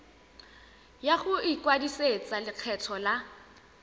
ya go ikwadisetsa lekgetho la